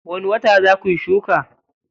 Wani wata za kuyi shuka?